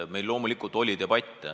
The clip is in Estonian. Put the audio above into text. Meil loomulikult tekkis debatt.